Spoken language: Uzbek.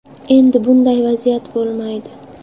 Endi bunday vaziyat bo‘lmaydi.